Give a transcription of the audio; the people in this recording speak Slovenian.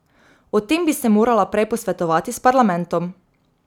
O tem bi se morala prej posvetovati s parlamentom.